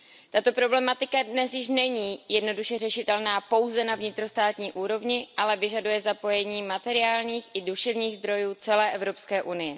Tato problematika dnes již není jednoduše řešitelná pouze na vnitrostátní úrovni, ale vyžaduje zapojení materiálních i duševních zdrojů celé EU.